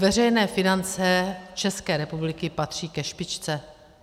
Veřejné finance České republiky patří ke špičce.